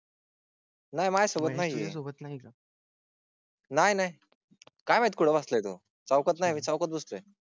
नाही माझ्या सोबत नाही सोबत नाही का? नाही नाही काय माहित कुठला येतो चौकात नाही चौकात बसतोय.